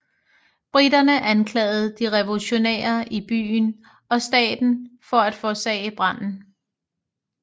Briterne anklagede de revolutionære i byen og staten for at forårsagde branden